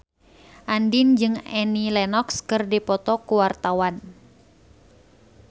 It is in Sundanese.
Andien jeung Annie Lenox keur dipoto ku wartawan